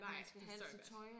Nej det forstår jeg godt